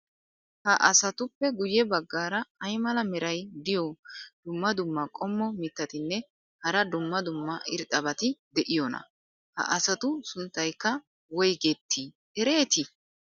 Ha asatuppe guye bagaara ay mala meray diyo dumma dumma qommo mitattinne hara dumma dumma irxxabati de'iyoonaa? ha asatu sunttaykka woygetti erettii?